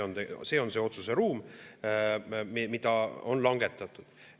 See on see otsuseruum, mida on langetatud.